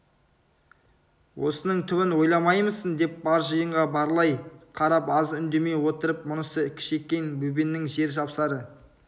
осының түбін ойламаймысың деп бар жиынға барлай қарап аз үндемей отырып мұнысы кішекең бөбеңнің жер жапсары